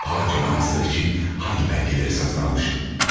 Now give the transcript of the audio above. Filanca manastır üçün hansı bəlgələri satın almışam?